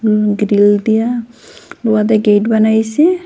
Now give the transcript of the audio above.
উম grill দিয়া উয়াদের gate বানাইসে।